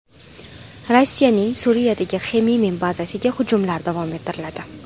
Rossiyaning Suriyadagi Xmeymim bazasiga hujumlar davom ettiriladi.